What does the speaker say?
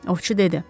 Ovçu dedi.